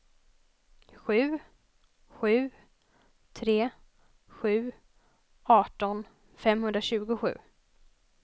sju sju tre sju arton femhundratjugosju